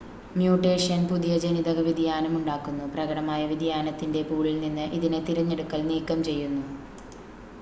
mutation പുതിയ ജനിതക വ്യതിയാനം ഉണ്ടാക്കുന്നു പ്രകടമായ വ്യതിയാനത്തിൻ്റെ പൂളിൽ നിന്ന് ഇതിനെ തിരഞ്ഞെടുക്കൽ നീക്കംചെയ്യുന്നു